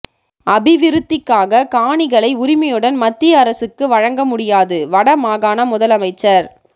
அபிவிருத்திக்காக காணிகளை உரிமையுடன் மத்திய அரசுக்கு வழங்கமுடியாது வட மாகாண முதலமைச்சர்